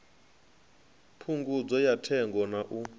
phungudzo ya thengo na u